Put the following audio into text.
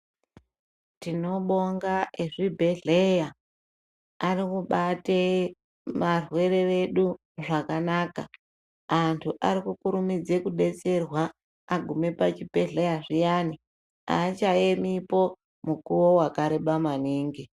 Tinobonga ezvibhedhlera arikubate varwere vedu zvakanaka antu arikukurumidze kudetserwa agume pachibhedhlera zviyani achayemipo mukuwo wareba maningi.